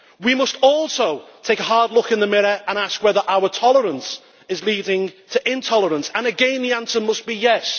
We must take a hard look in the mirror and ask whether our tolerance is leading to intolerance and again, the answer must be yes.